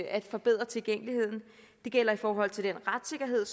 at forbedre tilgængeligheden det gælder i forhold til den retssikkerhed